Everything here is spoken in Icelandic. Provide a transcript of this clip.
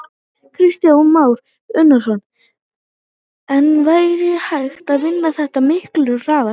Kristján Már Unnarsson: En væri hægt að vinna þetta miklu hraðar?